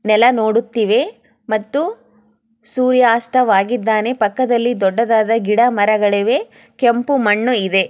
ನೆಲ ನೋಡುತ್ತಿವೆ ಮತ್ತು ಸೂರ್ಯಾಸ್ತವಾಗಿದ್ದಾನೆ ಪಕ್ಕದಲ್ಲಿ ದೊಡ್ಡದಾದ ಕೆಂಪು ಮಣ್ಣು ಇದೆ.